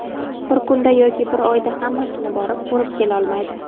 Bir kunda yoki bir oyda hammasini borib, ko‘rib kelolmaydi.